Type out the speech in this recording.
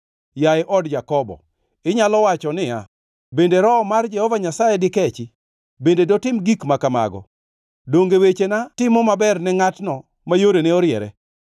Yaye od Jakobo, inyalo wacho niya: “Bende Roho mar Jehova Nyasaye dikechi? Bende dotim gik ma kamago?” “Donge wechena timo maber ne ngʼatno ma yorene oriere?